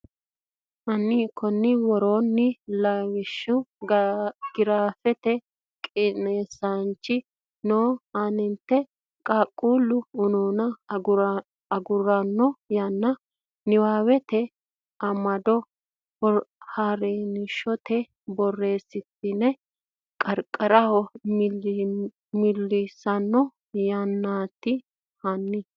hanni konni woroonni Lawishsha giraafete qiniishshi noo aante Qaaqquullu unuuna aguratanno yanna niwaawete amado haransitine borreessitine qarqaraho miillissanno yannaati hanni.